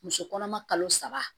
Muso kɔnɔma kalo saba